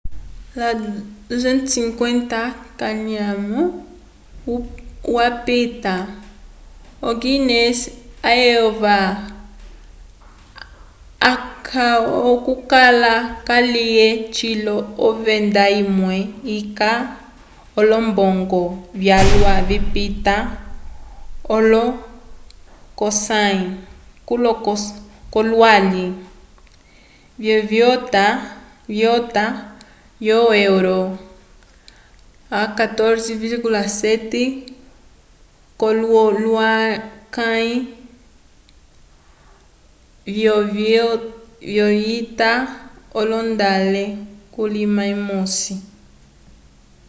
250 k’anyamo apita o-guiness yayova calwa okukala kalye cilo ovenda imwe yeca olombongo vyalwa vipita olo 10 k’olohulukãyi vyovita yo euro 14,7 k’olohulukãyi vyovita yondolale kulima umosi